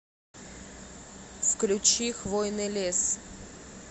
включи хвойный лес